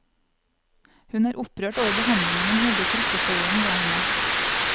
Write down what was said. Hun er opprørt over behandlingen hun hevder trikkeføreren ga henne.